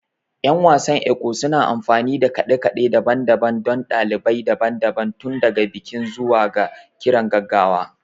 Yan wasan Ekwe suna amfani da kade-kade daban-daban don dalilai daban-daban, tun daga bikin zuwa ga kiran gaggawa